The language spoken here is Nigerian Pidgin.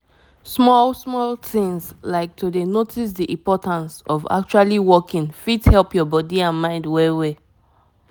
na true as i learn more about why waka dey important e make me change how i dey live every day.